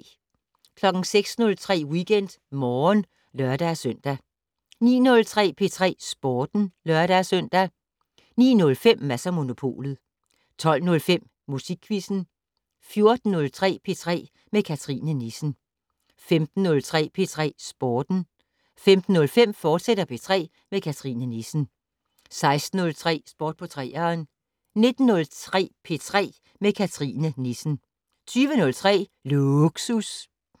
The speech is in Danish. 06:03: WeekendMorgen (lør-søn) 09:03: P3 Sporten (lør-søn) 09:05: Mads & Monopolet 12:05: Musikquizzen 14:03: P3 med Cathrine Nissen 15:03: P3 Sporten 15:05: P3 med Cathrine Nissen, fortsat 16:03: Sport på 3'eren 19:03: P3 med Cathrine Nissen 20:03: Lågsus